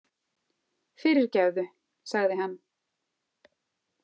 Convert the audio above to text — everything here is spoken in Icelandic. Fyrirgefðu, sagði hann.